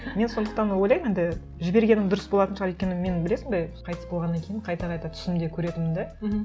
мен сондықтан ойлаймын енді жібергенім дұрыс болатын шығар өйткені мен білесің бе қайтыс болғаннан кейін қайта қайта түсімде көретінмін де мхм